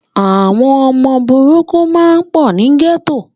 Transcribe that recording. Àwọn ọmọ burúkú máa pọ̀ ni gẹ́tò.